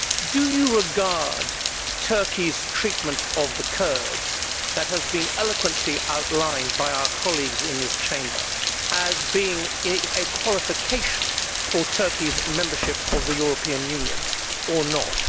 Do you regard Turkey's treatment of the Kurds, that has been eloquently outlined by our colleagues in this Chamber, as being a qualification for Turkey's membership of the European Union, or not?